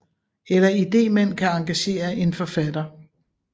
Eller idémænd kan engagere en forfatter